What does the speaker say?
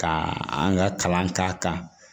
Ka an ka kalan k'a kan